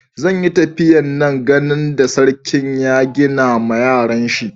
Zan yi tafiya n'gan ginin da sarkin ya gina ma yaron shi.